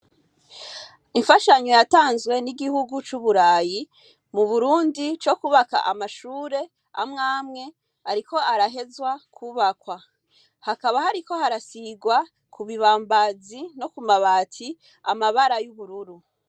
Imfashanyo yatanzwe n'Igihugu c'Uburayi mu Burundi co kubaka amashure amwe amwe ariko arahezwa kubakwa, hakaba hariko harasigwa ku bibambazi no ku mabati amabara y'ubururu.